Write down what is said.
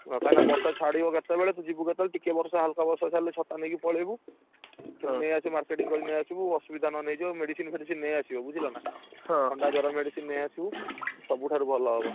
କାଇଁ ନା ବର୍ଷା ଛାଡ଼ିବ କେତେବେଳେ ତୁ ଯିବୁ କେତେବେଳେ ଟିକେ ବର୍ଷା ହାଲକା ବର୍ଷା ଛାଡିଲେ ଛତା ନେଇକି ପଳେଇବୁ। ସେଠୁ ନେଇଆସିବୁ marketing କରିକି ନେଇଆସିବୁ, ଅସୁବିଧା ନହେନେ ହେଇଯିବ medicine ଫେଡିସିନ୍ ନେଇଆସିବ ବୁଝିଲ ନା, ଥଣ୍ଡା ଜର medicine ନେଇଆସିବୁ, ସବୁଠାରୁ ଭଲ ହବ।